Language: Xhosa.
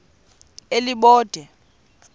elibode